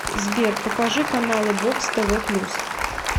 сбер покажи каналы бокс тв плюс